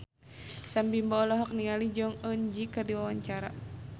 Sam Bimbo olohok ningali Jong Eun Ji keur diwawancara